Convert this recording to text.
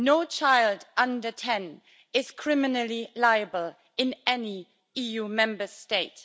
No child under 10 is criminally liable in any EU Member State.